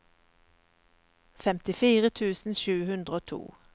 femtifire tusen sju hundre og to